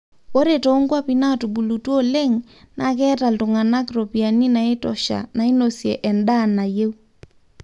ore too nkuapi natubulutua oleng naa keeta iltungana ropiyani naitosha nainosie endaa nayieu